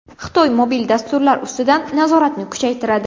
Xitoy mobil dasturlar ustidan nazoratni kuchaytiradi.